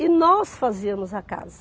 E nós fazíamos a casa.